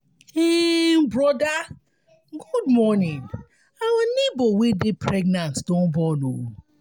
um broda good morning our nebor wey dey pregnant don born o.